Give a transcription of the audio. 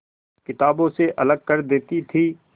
किताबों से अलग कर देती थी